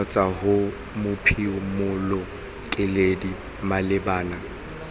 kgotsa ho mophimola keledi malebana